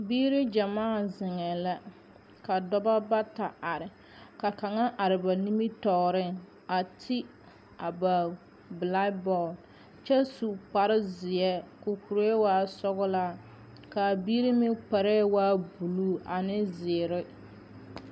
Bibiiri gyamaa zeŋee la ka dɔba bata are ka kaŋa are ba nimitɔɔreŋ a de a ba pilaabɔɔl kyɛ su kpara zeɛ ka o kuree waa sɔgelaa kaa biiri meŋ kparɛɛ blue ane zeere